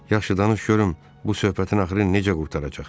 Yaxşı danış görüm bu söhbətin axırı necə qurtaracaq?